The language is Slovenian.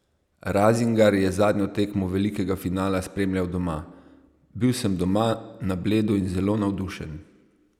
Razingar je zadnjo tekmo velikega finala spremljal doma: "Bil sem doma na Bledu in zelo navdušen.